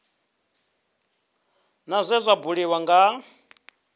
sa zwe zwa buliwa nga